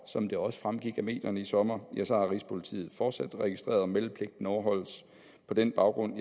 som det også fremgik af medierne i sommer har rigspolitiet fortsat registreret om meldepligten overholdes på den baggrund